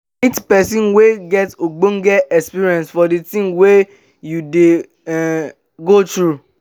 meet person wey get ogbonge experience for di thing wey you dey um go through